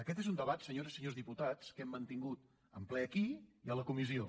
aquest és un debat senyores i senyors diputats que hem mantingut en ple aquí i a la comissió